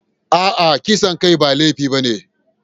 A'a, kisan kai ba laifi ba ne.